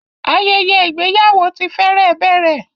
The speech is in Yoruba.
Ayẹyẹ igbeyawo ti fẹrẹ bẹrẹ